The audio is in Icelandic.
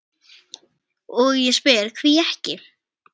og ég spyr: hví ekki?